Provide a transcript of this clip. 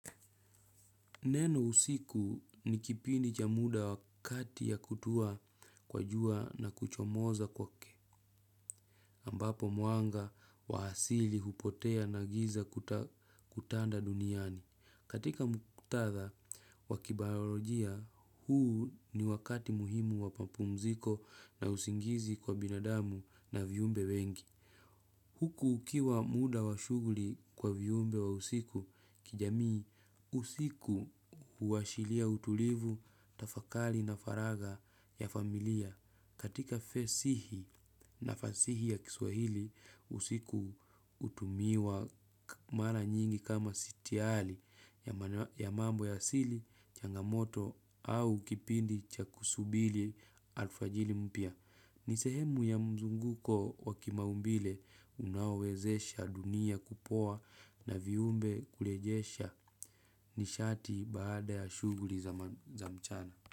Neno usiku ni kipindi cha muda wa kati ya kutua kwa jua na kuchomoza kwake, ambapo mwanga wa asili hupotea na giza kutanda duniani. Katika muktadha wa kibayorojia, huu ni wakati muhimu wa papumziko na usingizi kwa binadamu na vyumbe wengi. Huku ukiwa muda wa shuguli kwa vyumbe wa usiku kijamii, usiku huwashilia utulivu, tafakali na faraga ya familia. Katika fesihi na fasihi ya kiswahili, usiku utumiwa mara nyingi kama sitiali ya mambo ya asili, changamoto au kipindi cha kusubili alfajili mpya. Ni sehemu ya mzunguko wa kimaumbile unaowezesha dunia kupoa na viumbe kulejesha nishati baada ya shuguri za mchana.